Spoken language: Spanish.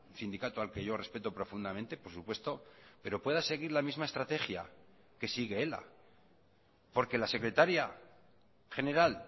sindicato al que yo respeto profundamente por supuesto pero pueda seguir la misma estrategia que sigue ela porque la secretaria general